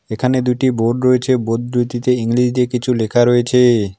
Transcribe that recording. এখানে দুটি বোর্ড রয়েছে বোর্ড দুইটিতে ইংরেজিতে কিছু লেখা রয়েছে।